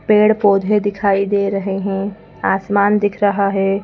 पेड़ पौधे दिखाई दे रहे हैं आसमान दिख रहा है।